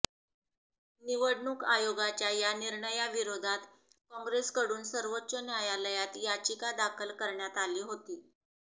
निवडणूक आयोगाच्या या निर्णयाविरोधात काँग्रेसकडून सर्वोच्च न्यायालयात याचिका दाखल करण्यात आली होती